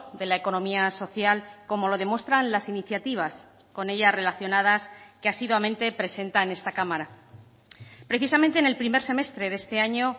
de la economía social como lo demuestran las iniciativas con ellas relacionadas que asiduamente presenta en esta cámara precisamente en el primer semestre de este año